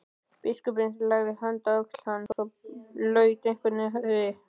Biskupinn lagði höndina á öxl hans og laut einnig höfði.